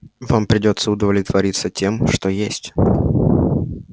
вам придётся удовлетвориться тем что есть